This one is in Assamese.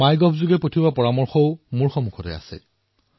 মাই গভত আপোনালোকে যি পৰামৰ্শ প্ৰদান কৰে সেয়াও মোৰ সন্মুখত আছে